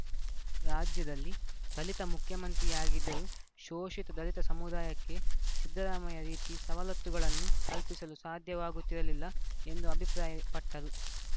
ರಾಜ್ಯದಲ್ಲಿ ದಲಿತ ಮುಖ್ಯಮಂತ್ರಿಯಾಗಿದ್ದರೂ ಶೋಷಿತ ದಲಿತ ಸಮುದಾಯಕ್ಕೆ ಸಿದ್ದರಾಮಯ್ಯ ರೀತಿ ಸವಲತ್ತುಗಳನ್ನು ಕಲ್ಪಿಸಲು ಸಾಧ್ಯವಾಗುತ್ತಿರಲಿಲ್ಲ ಎಂದು ಅಭಿಪ್ರಾಯಪಟ್ಟರು